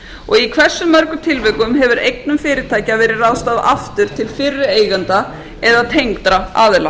og í hversu mörgum tilvikum hefur eignum fyrirtækja verið ráðstafað aftur til fyrri eigenda eða tengdra aðila